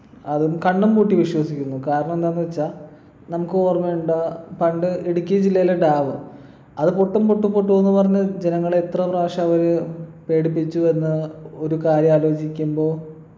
അതും കണ്ണും പൂട്ടി വിശ്വസിക്കുന്നു കാരണം എന്താന്ന് വച്ചാ നമുക്ക് ഓർമ്മയുണ്ടാ പണ്ട് ഇടുക്കി ജില്ലയിലെ dam അത് പൊട്ടും പൊട്ടും പൊട്ടും എന്ന് പറഞ്ഞ് ജനങ്ങളെ എത്ര പ്രാവശ്യ അവര് പേടിപ്പിച്ചു എന്ന ഒരു കാര്യം ആലോചിക്കുമ്പോ